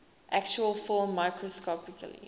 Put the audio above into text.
actual film microscopically